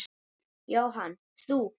Jóhanna: Þú?